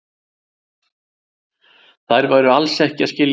Þau væru alls ekki að skilja